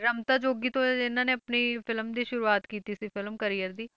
ਰਮਤਾ ਜੋਗੀ ਤੋਂ ਇਹ ਇਹਨਾਂ ਨੇ ਆਪਣੀ film ਦੀ ਸ਼ੁਰੂਆਤ ਕੀਤੀ ਸੀ film career ਦੀ,